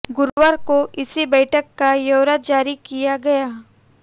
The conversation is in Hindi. गुरुवार को इसी बैठक का ब्यौरा जारी किया गया